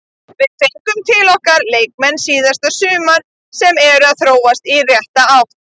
Við fengum til okkar leikmenn síðasta sumar sem eru að þróast í rétta átt.